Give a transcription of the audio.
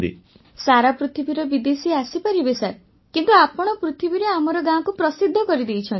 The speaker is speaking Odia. ବର୍ଷାବେନ୍ ସାରା ପୃଥିବୀର ବିଦେଶୀ ଆସିପାରିବେ ସାର୍ କିନ୍ତୁ ଆପଣ ପୃଥିବୀରେ ଆମର ଗାଁକୁ ପ୍ରସିଦ୍ଧ କରିଦେଇଛନ୍ତି